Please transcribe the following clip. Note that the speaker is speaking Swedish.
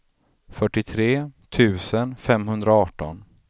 fyrtiotre tusen femhundraarton